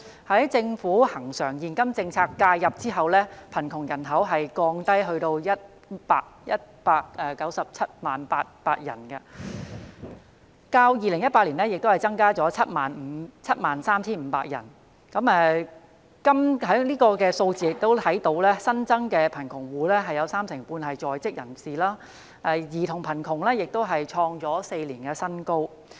在政府的恆常現金政策介入後，貧窮人口下降至 1,097 800人，但較2018年增加了 73,500 人，而從有關數字所見，新增貧窮戶有三成半為在職人士，兒童貧窮率亦創4年新高。